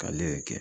K'ale yɛrɛ kɛ